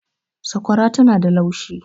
sakwara tana da laushi